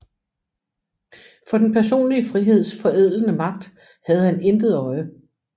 For den personlige friheds forædlende magt havde han intet øje